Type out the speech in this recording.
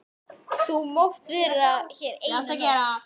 Þú mátt vera hér eina nótt.